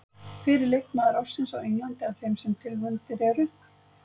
Hver er leikmaður ársins á Englandi af þeim sem tilnefndir eru?